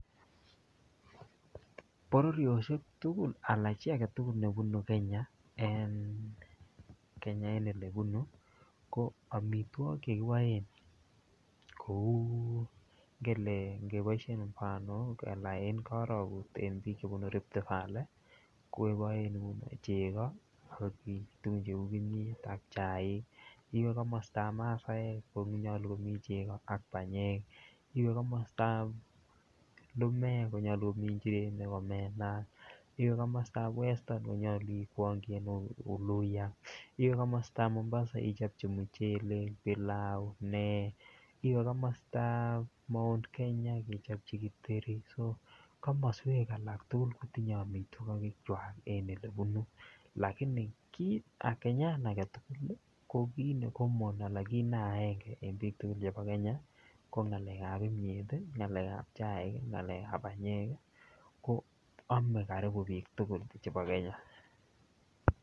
Bororioshek tukul alaan chii aketukul nebunu Kenya en Kenya en elebunu ko amitwokik chekiboen kouu ngele ngeboishen banok alaan en korokut en biik chebunu Rift valley ko koin cheko ak tukun cheu kimnyet ak chaik, iwee komostab masaek konyolu komii cheko ak banyek, iwee komostab lumek konyolu komii njirenik omena, iwee komostab western konyolu ikwongi en uluya, iwee komostab Mombasa ichopchi muchelek, bilau, nee, iwee komostab Mount Kenya ichopchi kiteri, so komoswek alak tukul kotinye amitwokikwak en elebunu lakini Kenyan aketukul ko kiit ne common anan kiit ne aenge en biik tukul chebo Kenya ko ngalekab mnyet, ngalekab chaik, ngalekab banyek ko omee karibu biik tukul chebo Kenya.